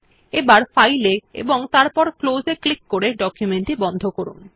এবার ফাইল এ এবং তারপর ক্লোজ এ ক্লিক করে ডকুমেন্ট টি বন্ধ করুন